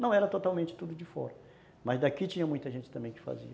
Não era totalmente tudo de fora, mas daqui tinha muita gente também que fazia.